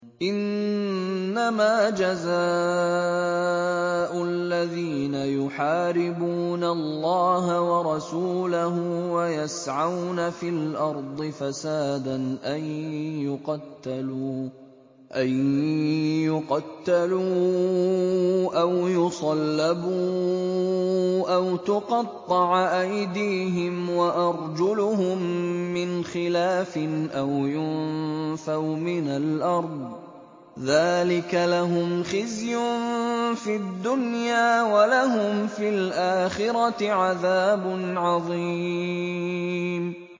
إِنَّمَا جَزَاءُ الَّذِينَ يُحَارِبُونَ اللَّهَ وَرَسُولَهُ وَيَسْعَوْنَ فِي الْأَرْضِ فَسَادًا أَن يُقَتَّلُوا أَوْ يُصَلَّبُوا أَوْ تُقَطَّعَ أَيْدِيهِمْ وَأَرْجُلُهُم مِّنْ خِلَافٍ أَوْ يُنفَوْا مِنَ الْأَرْضِ ۚ ذَٰلِكَ لَهُمْ خِزْيٌ فِي الدُّنْيَا ۖ وَلَهُمْ فِي الْآخِرَةِ عَذَابٌ عَظِيمٌ